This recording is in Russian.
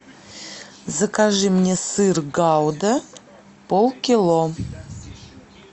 закажи мне сыр гауда полкило